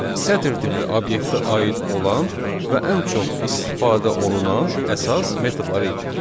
Bu sətir tipli obyektə aid olan və ən çox istifadə olunan əsas metodlar idi.